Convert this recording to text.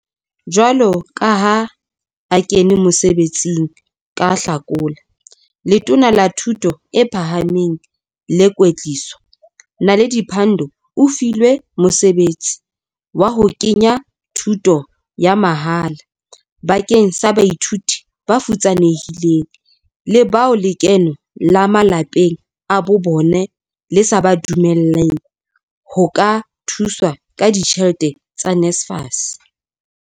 Jwalo ka ha a kene mosebe tsing ka Hlakola, Letona la Thuto e Phahameng le Kwetliso, Naledi Pandor o filwe mosebetsi wa ho ke nya thuto ya mahala bakeng sa baithuti bafutsanehileng le bao lekeno la malapeng a bobona le sa ba dumelleng ho ka thuswa ka ditjhelete tsa NSFAS.